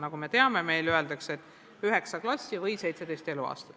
Nagu me teame, öeldakse ju, et üheksa klassi või seitseteist eluaastat.